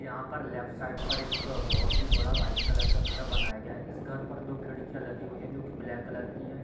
यहाँ पर left side पर एक बहोत ही बड़ा वाइट कलर का घर बनाया गया है इस घर पर दो खिड़कियाँ लगी हुई है जो की ब्लैक कलर की हैं।